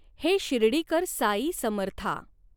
हे शिर्डिकर साई समर्था।